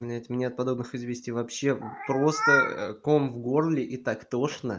нет меня от подобных извести вообще просто ком в горле и так тошна